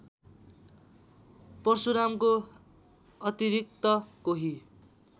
परशुरामको अतिरिक्त कोही